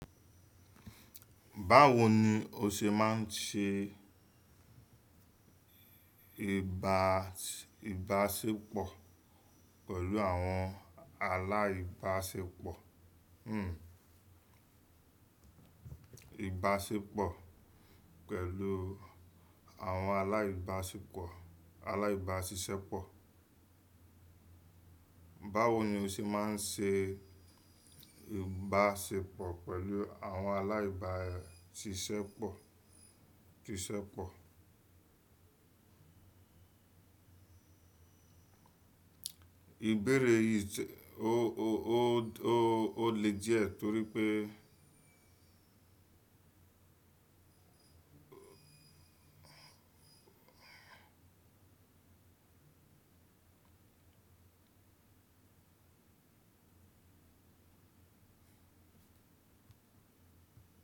Báwo ni o ṣe máa ń ṣe ìbáṣepọ̀ pẹ̀lú àwọn aláìbáṣepọ̀, hmmm ìbáṣepọ̀ pẹ̀lú àwọn aláìbáṣepọ̀ aláìbáṣiṣẹ́pọ̀? Báwo ni o ṣe máa ń ṣe ìbáṣepọ̀ pẹ̀lú àwọn aláìbáṣiṣẹ́pọ̀, ṣiṣẹ́pọ̀? Ìbéere yìí ó lè diẹ torí pé.